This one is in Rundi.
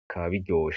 bikaba biryoshe.